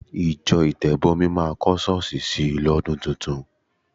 Ìjọ Ìtẹ̀bọmi máa kọ́ ṣọ́ọ̀ṣì sì lọ́dún tuntun.